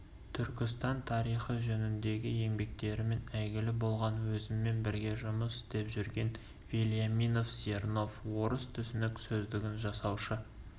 түркістан тарихы жөніндегі еңбектерімен әйгілі болған өзіммен бірге жұмыс істеп жүрген вельяминов-зернов орыс түсінік сөздігін жасаушы